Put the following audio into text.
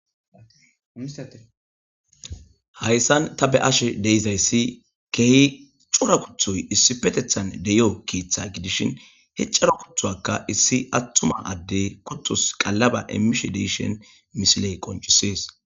Hassan ta beashshe deizayssi kehi cora kutoy issippettethan deiyo keththa giddishin he coora kuttoka issi attuma addey kutos qaalaba immishe deishshin missiley qonccises.